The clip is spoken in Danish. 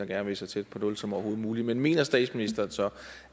gerne vil så tæt på nul som overhovedet muligt men mener statsministeren så